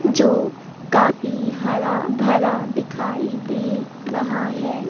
जो काफी हरा भरा दिखाई दे रहा है।